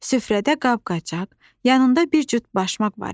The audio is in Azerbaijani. Süfrədə qab-qacaq, yanında bir cüt başmaq var idi.